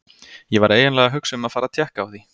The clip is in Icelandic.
Ég var eiginlega að hugsa um að fara að tékka á því.